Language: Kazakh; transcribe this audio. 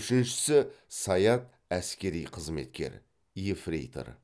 үшіншісі саят әскери қызметкер ефрейтор